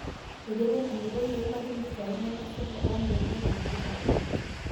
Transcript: eiterua orkilikuai oimaki mpisai nemsipa oondolai tikitam.